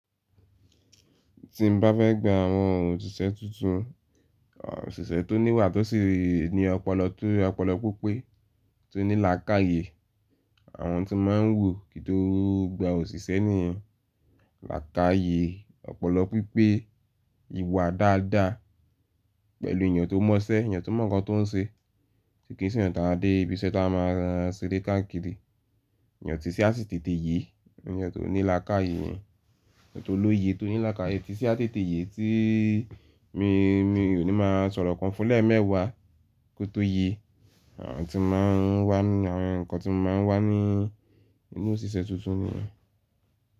Tí n bá fẹ́ gba àwọn òṣìṣẹ́ tuntun, òṣìṣẹ́ tó níwà tó sì rí ní ọpọlọ tó ọpọlọ pípé tí ó ní làákàyè. Àwọn tí máa ń wò kí tó gba òṣìṣẹ́ nìyẹn, làákàyè, ọpọlọ pípé, ìwà dáadáa pẹ̀lú èèyàn tó mọṣẹ́, èèyàn tó mọ̀ nǹkan tó ń ṣe. Kí n sí eyantọ̀ a dé ibiṣẹ́ tó a máa ṣeré káàkiri. Èèyàn tí ṣẹ́ á sì tètè yè, èèyàn tó ní làákàyè, èèyàn tó lóye tó ní làákàyè tí ṣẹ́ á sì tètè yè tí mi, mi ò ní máa sọ̀rọ̀ kan fún lẹ́ mẹ́wàá kó tó yè. Àwọn tí máa ń wà ní àwọn nǹkan tí máa ń wà ní inú òṣìṣẹ́ tuntun nìyẹn.